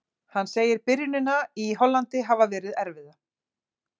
Hann segir byrjunina í Hollandi hafa verið erfiða.